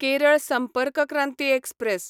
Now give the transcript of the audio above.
Kerala Sampark Kranti express